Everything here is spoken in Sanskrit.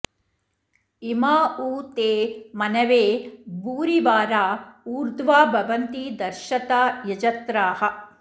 इमा उ ते मनवे भूरिवारा ऊर्ध्वा भवन्ति दर्शता यजत्राः